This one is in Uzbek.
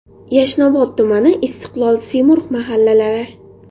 Yashnobod tumani: Istiqlol, Semurg‘ mahallalari.